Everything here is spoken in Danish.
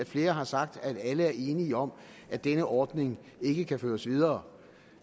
flere har sagt at alle er enige om at denne ordning ikke kan føres videre